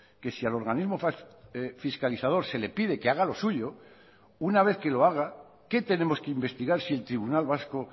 que si al organismo fiscalizador se le pide que haga lo suyo una vez que lo haga qué tenemos que investigar si el tribunal vasco